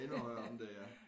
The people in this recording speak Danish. Endnu højere oppe end det ja